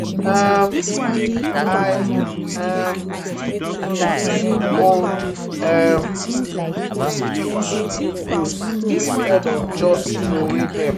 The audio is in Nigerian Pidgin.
um i um go recycle old um tins and bottles instead of just troway dem.